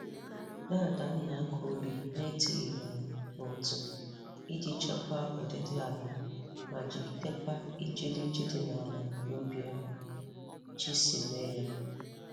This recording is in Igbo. Dada m na-akọ ubi na-etirighị ala ma otu iji chekwa ọdịdị aịa ma jigidekwa ijiriji di n'ala n'ụdị ahụ Chi si mee ya.